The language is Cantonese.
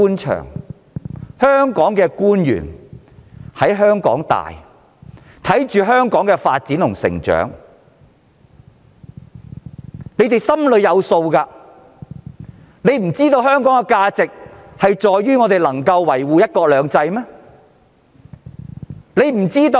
特區政府官員大多在香港土生土長，見證香港發展和成長，他們應該心裏有數，知道香港的價值在於維護"一國兩制"。